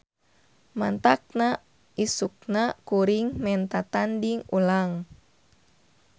Mantakna isukna kuring menta tanding ulang.